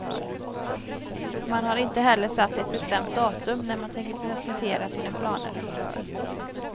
Man har inte heller satt ett bestämt datum när man tänker presentera sina planer.